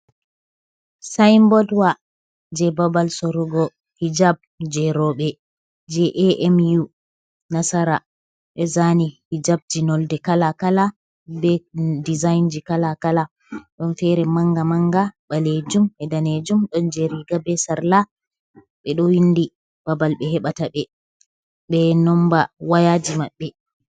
Sayinbod wa jey babal sorugo hijab jey rowɓe jey AMU Nasara. Ɓe zaani hijabji nonnde kala kala ,be dizayji kala kala, ɗon feere mannga mannga baleejum be daneejum. Ɗon jey riiga be sarla, ɓe ɗo winndi babal ,ɓe heɓata ɓe ,be nommba wayaaji maɓɓe.